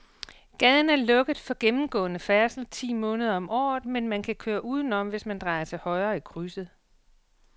Gaden er lukket for gennemgående færdsel ti måneder om året, men man kan køre udenom, hvis man drejer til højre i krydset.